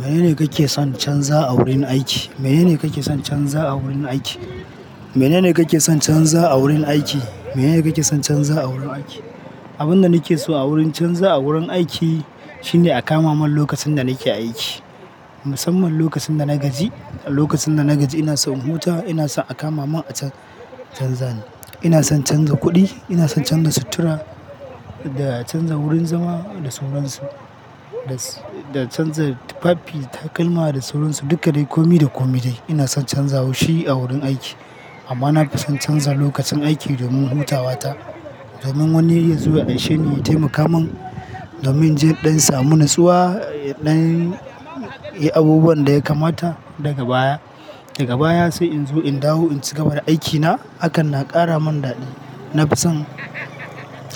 Menene kake son canza a wurin aiki? Menene kake son canza a wurin aiki? Menene kake son canza a wurin aiki? Menene kake son canza a wurin aiki? Abin da nake so a wurin canza a wurin aiki shine a kama mun lokacin da nake aiki, musamman lokacin da na gaji. Lokacin da na gaji ina son in huta, ina so a kama mun a canza ni. Ina son canza kuɗi, ina son canza sutura, da canza wurin zama da suransu, da canza tufafi, takalma da sauransu duk daidai. Komi da komi dai ina son canza shi a wurin aiki. Amma na fi son canza lokacin aiki domin hutawa ta, domin wani ya zo ya ansheni ya taimaka mun, domin inje inɗan samu natsuwa, ɗan yi abubuwan da ya kamata daga baya. Daga baya sai in zo in dawo in cigaba da aikina hakan na ƙara mun daɗi. Na fi son